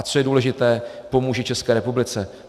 A co je důležité, pomůže České republice.